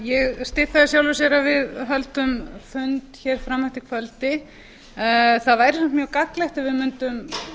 ég styð það í sjálfu sér að við höldum fund hér fram eftir kvöldi það væri samt mjög gagnlegt ef við mundum